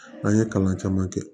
An ye kalan caman kɛ